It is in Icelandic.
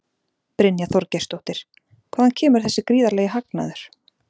Brynja Þorgeirsdóttir: Hvaðan kemur þessi gríðarlegi hagnaður?